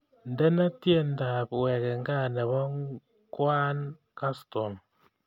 Indene tyendab wegen gaa nebo kwaan kaston